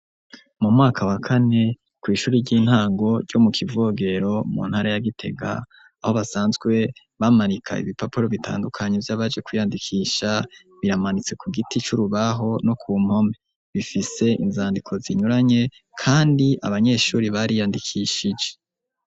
Mu mwaka wa kane kw'ishuri ry'intango ryo mu kivogero mu ntara ya gitega aho basanzwe bamanika ibipapuro bitandukanyo byabaje kwiyandikisha biramanitse ku giti c'urubaho no ku mpome bifise inzandiko zinyuranye kandi abanyeshuri bari yandikishije.